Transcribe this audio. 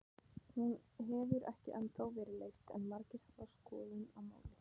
Hún hefur ekki ennþá verið leyst en margir hafa skoðun á málinu.